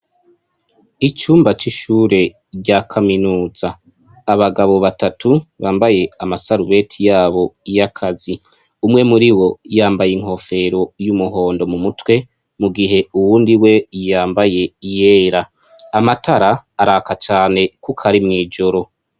Icumba c'ishure rya kaminuza abagabo batatu bambaye ama sarubete yabo y'akazi umwe muribo yambaye inkofero y'umuhondo mumutwe mu gihe uwundi we yambaye iyera amatara araka cane kuko ari mw'ijoro.